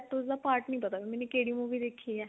ਉਸਦਾ part ਨਹੀਂ ਪਤਾ ਮੈਨੇ ਕਿਹੜੀ movie ਦੇਖੀ ਏ